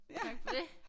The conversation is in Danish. Tak for det